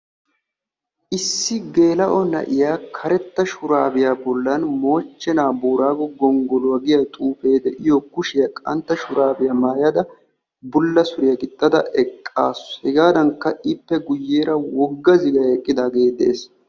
Issi geela'o na'iyaa karetta shuraabiyaa bollan moochchenaa booraago gonggoluwaa giyaa xuufee de'iyoo kushshiyaa qantta shuraabiyaa maayada bulla suriyaa gixxada eqqasu. hegaadanikka ippe guyeera wogga ziggay eqqidaagee de'ees.